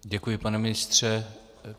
Děkuji, pane ministře.